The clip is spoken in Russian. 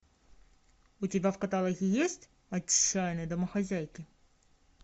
у тебя в каталоге есть отчаянные домохозяйки